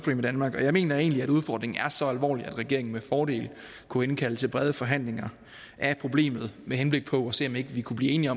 i danmark og jeg mener egentlig at udfordringen er så alvorlig at regeringen med fordel kunne indkalde til brede forhandlinger af problemet med henblik på at se om ikke vi kunne blive enige